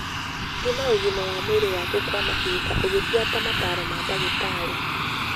Thima ũgima wa mwĩrĩ waku kwa mahinda ũgibuata motaaro ma ndagĩtarĩ.